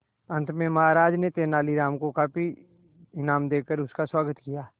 अंत में महाराज ने तेनालीराम को काफी इनाम देकर उसका स्वागत किया